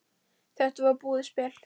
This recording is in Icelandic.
Þetta var búið spil.